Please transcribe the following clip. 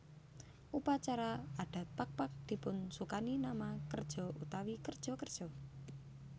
Upacara adat Pakpak dipunsukani nama kerja utawi kerja kerja